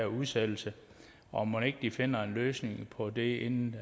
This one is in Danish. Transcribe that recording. udsættelse og mon ikke de finder en løsning på det inden